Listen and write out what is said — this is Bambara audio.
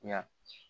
Ya